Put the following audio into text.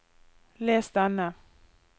les denne